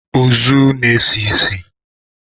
Ozu na-esi isi.